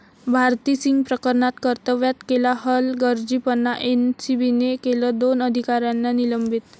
भारती सिंग प्रकरणात कर्तव्यात केला हलगर्जीपणा, एनसीबीने केलं दोन अधिकाऱ्यांना निलंबित!